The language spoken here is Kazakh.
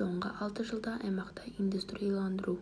соңғы алты жылда аймақта индустрияландыру